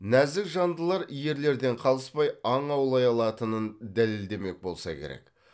нәзік жандылар ерлерден қалыспай аң аулай алатынын дәлелдемек болса керек